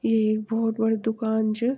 ये ऐक भौत बडी दुकान च।